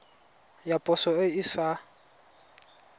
ya poso e e sa